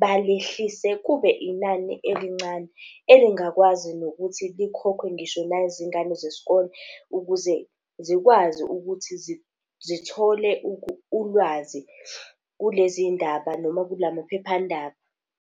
balehlise kube inani elincane elingakwazi nokuthi likhokhwe ngisho nazingane zesikole, ukuze zikwazi ukuthi zithole ulwazi kulezi ndaba noma kula maphephandaba.